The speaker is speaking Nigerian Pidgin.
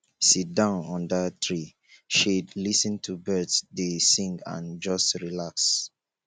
sit down under tree shade lis ten to birds dey sing and just relax